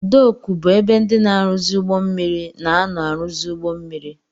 Dooku bụ ebe ndị na-aruzi ụgbọ mmiri na-ano aruzi ụgbọ mmiri.